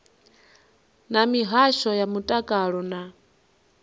na mihasho ya mutakalo na